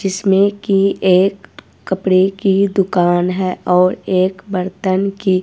जिसमें की एक कपड़े की दुकान है और एक बर्तन की।